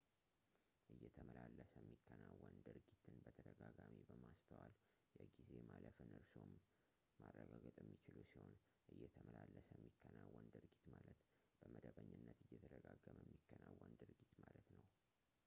እየተመላለሰ የሚከናወን ድርጊትን በተደጋጋሚ በማስተዋል የጊዜ ማለፍን እርስዎም ማረጋገጥ የሚችሉ ሲሆን እየተመላለሰ የሚከናወን ድርጊት ማለት በመደበኛነት እየተደጋገመ የሚከናወን ድርጊት ማለት ነው